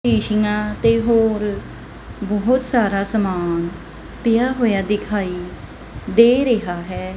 ਸ਼ੀਸ਼ਿਆਂ ਤੇ ਹੋਰ ਬੋਹੁਤ ਸਾਰਾ ਸਮਾਨ ਪਿਆ ਹੋਇਆ ਦਿਖਾਈ ਦੇ ਰਿਹਾ ਹੈ।